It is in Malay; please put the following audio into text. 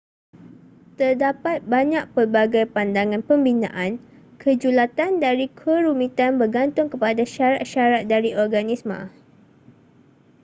terdapat banyak pelbagai pandangan pembinaan kejulatan dari kerumitan bergantung kepada syarat-syarat dari organisma